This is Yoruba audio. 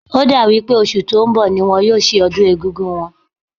Ó dà wí pé oṣù tó ń bọ̀ ni wọ́n yóò ṣe ọdún Eégún wọn